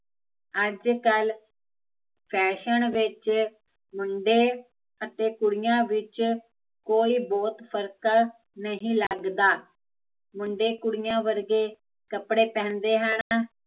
ਅੱਜ ਕੱਲ ਫੈਸ਼ਨ ਵਿੱਚ, ਮੁੰਡੇ ਅਤੇ ਕੁੜੀਆ ਵਿੱਚ, ਕੋਈ ਬਹੁਤ ਫ਼ਰਕ ਨਹੀਂ ਲੱਗਦਾ ਮੁੰਡੇ ਕੁੜੀਆ ਵਰਗੇ, ਕੱਪੜੇ ਪਹਿਨਦੇ ਹਨ